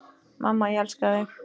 Mamma, ég elska þig.